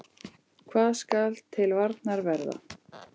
Hvað skal til varnar verða?